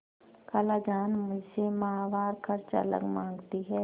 खालाजान मुझसे माहवार खर्च अलग माँगती हैं